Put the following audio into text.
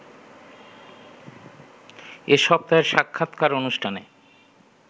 এ সপ্তাহের সাক্ষাৎকার অনুষ্ঠানে